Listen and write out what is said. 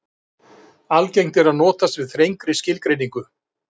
Algengt er að notast við þrengri skilgreiningu.